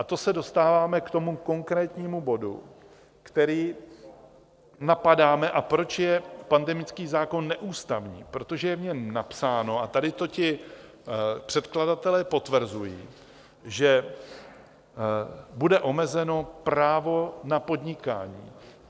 A to se dostáváme k tomu konkrétnímu bodu, který napadáme a proč je pandemický zákon neústavní: protože je v něm napsáno, a tady to ti předkladatelé potvrzují, že bude omezeno právo na podnikání.